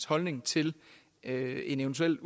holdning til en en eventuelt